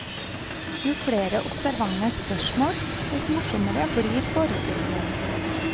Jo flere observante spørsmål, dess morsommere blir forestillingen.